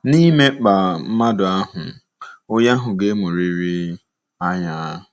Na-ịmekpaa mmadụ ahụ́, onye ahụ ga-emuriri anya.